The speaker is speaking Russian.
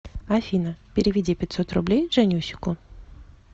афина переведи пятьсот рублей жаннюсику